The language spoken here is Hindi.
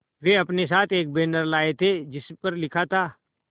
वे अपने साथ एक बैनर लाए थे जिस पर लिखा था